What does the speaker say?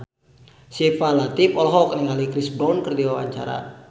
Syifa Latief olohok ningali Chris Brown keur diwawancara